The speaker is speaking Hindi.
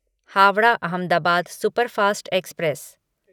Howrah Ahmedabad superfast express